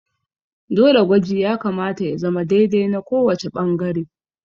Dole gwaji ya kamata ya zama dai dai na kowace ɓangare